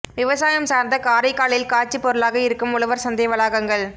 விவசாயம் சாா்ந்த காரைக்காலில் காட்சிப் பொருளாக இருக்கும் உழவா் சந்தை வளாகங்கள்